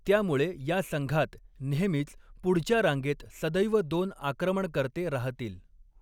त्यामुळे या संघात नेहमीच पुढच्या रांगेत सदैव दोन आक्रमणकर्ते राहतील.